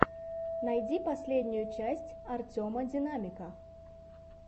найти последнюю часть артема динамика